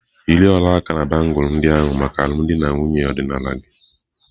Yiri ọla aka na bangulu ndị ahụ maka alụmdi na nwunye ọdịnala gị!.